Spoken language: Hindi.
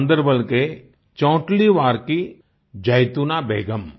गान्दरबल के चौंटलीवार की जैतूना बेगम